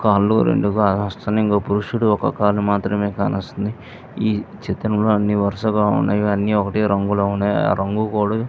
కాళ్ళు రెండూ కానొస్తున్నాయి ఇంక పురుషుడు ఒక కాలు మాత్రమే కానస్తుంది ఈ చిత్రంలో అన్నీ వరసగా ఉన్నాయి ఇవన్నీ ఒకటే రంగులో ఉన్నాయి ఆ రంగు కూడా --